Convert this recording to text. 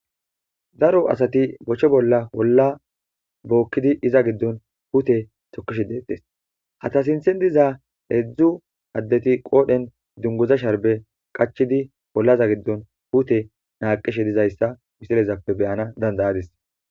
daro asati bochche bolla holla bookkidi iza giddon hute tokishe deettes hata sinthen diza eedzdzu addeti qoodhen dungoza sharbe qachidi hollaza giddon hute naaqishe dizayssa wisilezappe beyana dandayadis